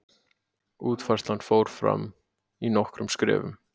Útfærslan fór fram í nokkrum skrefum.